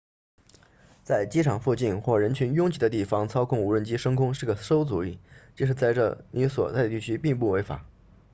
在机场附近或人群拥挤的地方操控无人机升空是个馊主意即使这在你所在地区并不违法